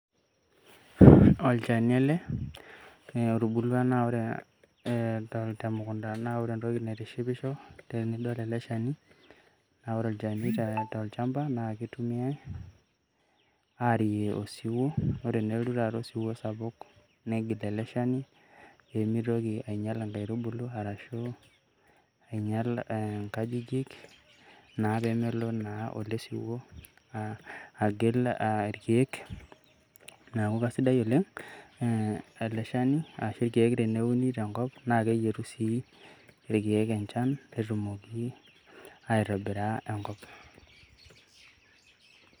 Olchani ele. Otubulua na ore temukunta, na ore entoki naitishipisho tenidol ele shani, na ore olchani tolchamba na kitumiai aarie osiwuo. Ore enelotu taata osiwuo sapuk, negil ele shani, pemitoki ainyal inkaitubulu, arashu inyal inkajijik naa pemelo naa ele siwuo agil irkeek. Neeku kasidai oleng',ele shani ashu irkeek teneuni tenkop. Na keyietu si irkeek enchan, netumoki aitobira enkop.